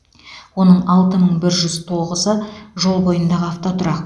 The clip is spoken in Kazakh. оның алты мың бір жүз тоғызы жол бойындағы автотұрақ